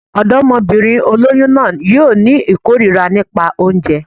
Ọ̀dọ́mọbìnrin olóyún náà yóò ní ìkórira nípa oúnjẹ